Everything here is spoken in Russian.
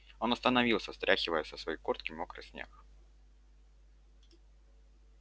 он остановился стряхивая со своей куртки мокрый снег